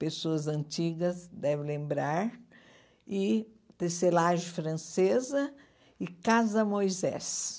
pessoas antigas, deve lembrar, e tecelagem francesa e Casa Moisés.